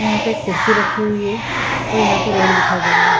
यहाँ पे एक कुर्सी रखी हुई है और यहाँ पे रोड दिखाई दे रहा है।